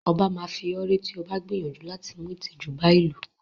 0̣ba máa fi ọ́ ré tí o bá gbìyànjú láti mú ìtìjú bá ìlú.